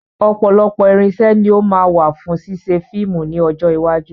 Ọ̀pọ̀lọpọ̀ irinṣẹ́ ni ó máa wà fún ṣíṣe fíìmù ní ọjọ́ iwájú.